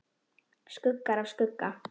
Skuggar af skugga.